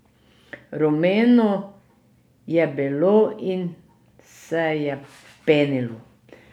Rumeno je bilo in se je penilo.